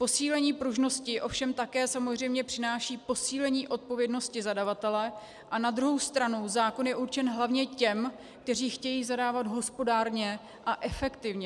Posílení pružnosti ovšem také samozřejmě přináší posílení odpovědnosti zadavatele a na druhou stranu zákon je určen hlavně těm, kteří chtějí zadávat hospodárně a efektivně.